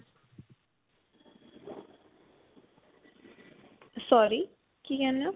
sorry. ਕੀ ਕਹਿਨੇ ਹੋ.